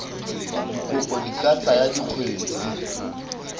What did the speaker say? dikopo di ka tsaya dikgwedi